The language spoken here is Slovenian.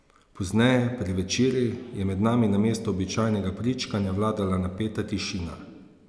Pozneje, pri večerji, je med nami namesto običajnega pričkanja vladala napeta tišina.